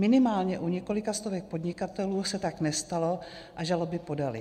Minimálně u několika stovek podnikatelů se tak nestalo a žaloby podali.